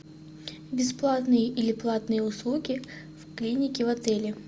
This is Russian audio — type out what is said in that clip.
бесплатные или платные услуги в клинике в отеле